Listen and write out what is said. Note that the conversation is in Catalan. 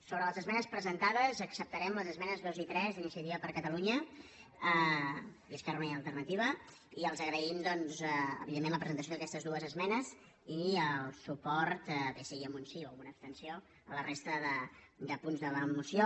sobre les esmenes presentades acceptarem les esmenes dos i tres d’iniciativa per catalunya esquerra unida i alternativa i els agraïm doncs evidentment la presentació d’aquestes dues esmenes i el suport bé sigui amb un sí o amb una abstenció a la resta de punts de la moció